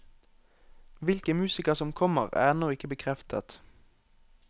Hvilke musikere som kommer, er ennå ikke bekreftet.